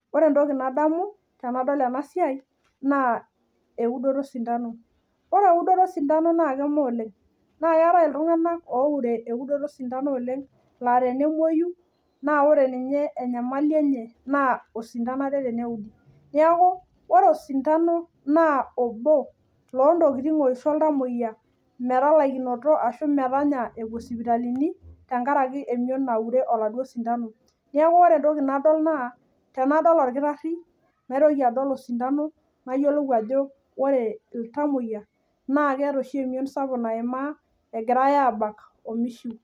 Ore entoki nadamu tenadamu tenadol ena siai naa eudoto oo Sindano. Ore eudonoto oo sindano naa keme oleng' naa keetae iltung'ana pure eudoto oo sindano oleng' laa tenemoi naa ore ninye enyamali enye naa oo sindano Ake teneudi. Neeku ore oo sindano naa obo oshii oo ntokitin oshi oltamoyia metalakinoto Ashu metanya epuo sipitalini tenkaraki emion nature oo sindano neeku ore entoki nadol naa tenadol orkitari naa kaitoki adol oo Sidano nayiolou ajo ore. Oltamoyia naa keeta oshi emion sapuk naima egirai abak mishiu.